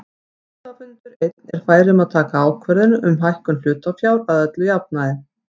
Hluthafafundur einn er fær um að taka ákvörðun um hækkun hlutafjár að öllum jafnaði.